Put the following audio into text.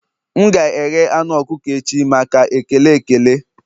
M ga-eghe anu ọkụkọ echi maka ekele ekele